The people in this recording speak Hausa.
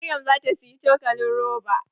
Maryam zata siyi cokalin roba.